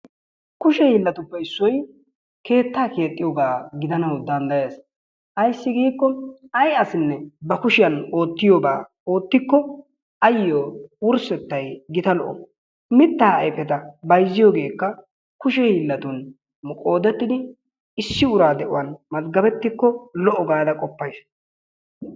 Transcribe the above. Kushe hiillatuppe issoy keettaa keexxiyogaa gidanawu danddayes. Ayssi giikko ay asinne ba kushiyan oottiyobaa oottikko ayyo wurssettay gita lo"o. Mittaa ayfeta bayzziyogeekka kushe hiillatun qoodettidi issi ura de"uwan mazggabettikko lo"o gaada qoppayis.